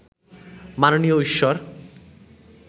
মাননীয় ঈশ্বর